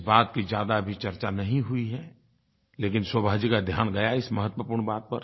इस बात की ज़्यादा अभी चर्चा नहीं हुई है लेकिन शोभा जी का ध्यान गया है इस महत्वपूर्ण बात पर